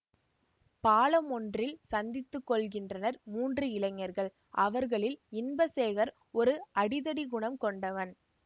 பாலமொன்றினில் சந்தித்து கொள்கின்றனர் மூன்று இளைஞர்கள் அவர்களில் இன்பசேகர் ஒரு அடிதடிகுணம் கொண்டவன்